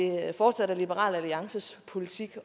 fortsat er liberal alliances politik